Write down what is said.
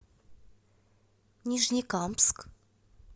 нижнекамск